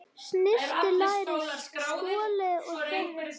Snyrtið lærið, skolið og þerrið.